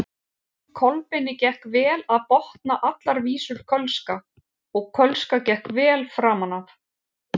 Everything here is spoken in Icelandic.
Kolbeini gekk vel að botna allar vísur kölska og kölska gekk vel framan af.